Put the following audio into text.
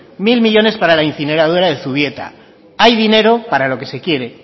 mil millónes para la incineradora de zubieta hay dinero para lo que se quiere